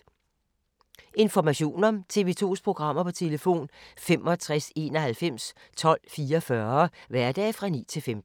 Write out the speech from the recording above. Information om TV 2's programmer: 65 91 12 44, hverdage 9-15.